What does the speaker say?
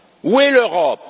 Où est l'Europe?